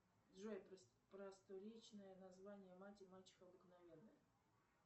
джой просторечное название мать и мачеха обыкновенная